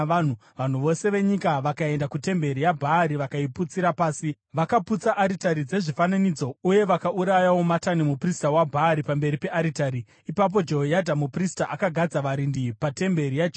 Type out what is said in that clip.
Vanhu vose venyika vakaenda kutemberi yaBhaari vakaiputsira pasi. Vakaputsa aritari dzezvifananidzo uye vakaurayawo Matani, muprista waBhaari, pamberi pearitari. Ipapo Jehoyadha muprista akagadza varindi patemberi yaJehovha.